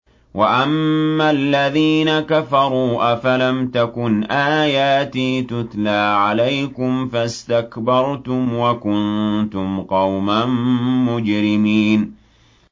وَأَمَّا الَّذِينَ كَفَرُوا أَفَلَمْ تَكُنْ آيَاتِي تُتْلَىٰ عَلَيْكُمْ فَاسْتَكْبَرْتُمْ وَكُنتُمْ قَوْمًا مُّجْرِمِينَ